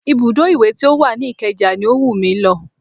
Ibùdó iwe ti ó wà ní ìkeja ni ó wù mí lọ